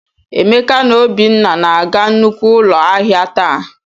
Emeka na Obinna na-aga nnukwu ụlọ ahịa taa.